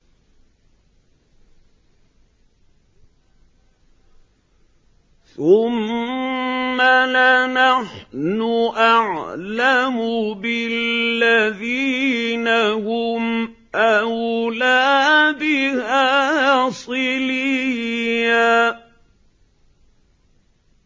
ثُمَّ لَنَحْنُ أَعْلَمُ بِالَّذِينَ هُمْ أَوْلَىٰ بِهَا صِلِيًّا